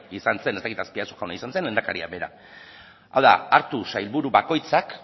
izan zen ez dakit azpiazu jauna izan zen edo lehendakaria bera hau da hartu sailburu bakoitzak